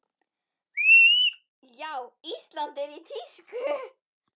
Já, Ísland er í tísku.